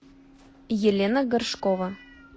елена горшкова